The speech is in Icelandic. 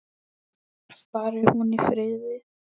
Fari hún í friði.